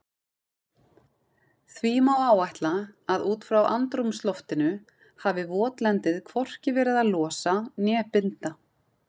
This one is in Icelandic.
Því má áætla að út frá andrúmsloftinu hafi votlendið hvorki verið að losa né binda.